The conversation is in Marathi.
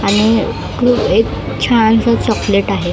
आणि कृ एक छानसं चॉकलेट आहे .